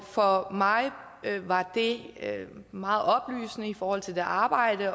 for mig var det meget oplysende i forhold til arbejdet